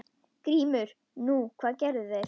GRÍMUR: Nú, hvað gerðu þeir?